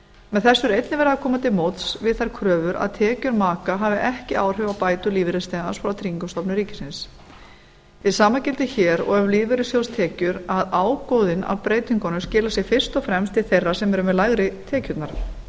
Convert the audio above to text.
með þessu er einnig verið að koma til móts við þær kröfur að að tekjur maka hafi ekki áhrif á bætur lífeyrisþegans frá tryggingastofnun ríkisins hið sama gildir hér og um lífeyrissjóðstekjur að ágóðinn af breytingunum skilar sér fyrst og fremst til þeirra sem eru með lægri tekjurnar